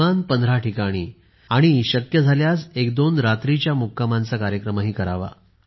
किमान पंधरा ठिकाणी आणि एकदोन रात्रींच्या मुक्कामाचा कार्यक्रम करावा